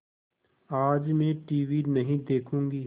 आज मैं टीवी नहीं देखूँगी